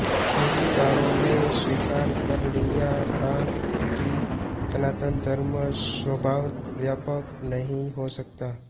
स्मृतिकारों ने स्वीकार कर लिया था कि सनातन धर्म स्वभावतः व्यापक नहीं हो सकता